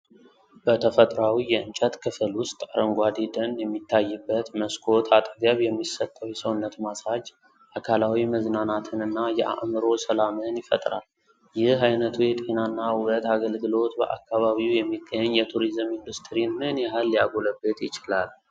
በተፈጥሯዊ የእንጨት ክፍል ውስጥ አረንጓዴ ደን የሚታይበት መስኮት አጠገብ የሚሰጠው የሰውነት ማሳጅ አካላዊ መዝናናትንና የአእምሮ ሰላምን ይፈጥራል። ይህ ዓይነቱ የጤናና ውበት አገልግሎት በአካባቢው የሚገኝ የቱሪዝም ኢንዱስትሪን ምን ያህል ሊያጎለብት ይችላል?